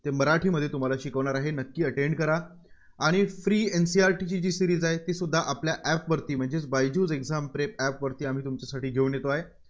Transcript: ते मराठीमधून तुम्हाला शिकवणार आहेत. नक्की attend करा. आणि FreeNCERT ची जी series आहे, तीसुद्धा आपल्या App वरती म्हणजेच बायजूस exam prep app वरती आम्ही तुमच्यासाठी घेऊन येतोय.